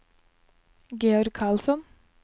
Georg Karlsson